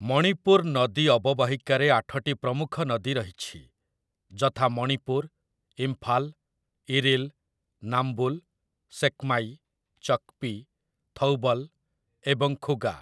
ମଣିପୁର ନଦୀ ଅବବାହିକାରେ ଆଠଟି ପ୍ରମୁଖ ନଦୀ ରହିଛି, ଯଥା 'ମଣିପୁର', 'ଇମ୍ଫାଲ୍', 'ଇରିଲ୍', 'ନାମ୍ବୁଲ୍', 'ସେକ୍ମାଇ', 'ଚକ୍‌ପି', 'ଥୌବଲ୍' ଏବଂ 'ଖୁଗା' ।